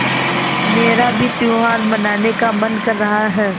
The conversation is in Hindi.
मेरा भी त्यौहार मनाने का मन कर रहा है